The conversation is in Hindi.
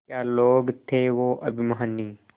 क्या लोग थे वो अभिमानी